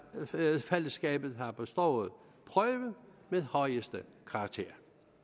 rigsfællesskabet har bestået prøven med højeste karakter